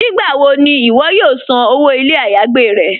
Nígbàwọ̀ ni iwọ̀ yóò sàn owó ilẹ̀-ayégbè rẹ̀?